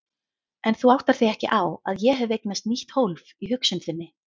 En þú áttar þig ekki á að ég hef eignast nýtt hólf í hugsun þinni.